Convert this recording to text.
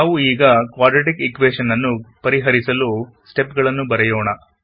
ನಾವು ಈಗ quadratic equation ನ್ನು ಪರಿಹರಿಸಲು ಸ್ಟೆಪ್ ಗಳನ್ನು ಬರೆಯೋಣ